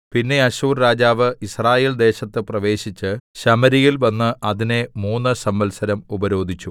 പിന്നെ അശ്ശൂർ രാജാവ് യിസ്രയേൽ ദേശത്ത് പ്രവേശിച്ച് ശമര്യയിൽ വന്ന് അതിനെ മൂന്നു സംവത്സരം ഉപരോധിച്ചു